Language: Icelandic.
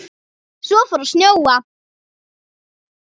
Svo fór að snjóa.